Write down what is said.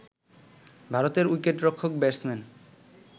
ভারতের উইকেটরক্ষক ব্যাটসম্যান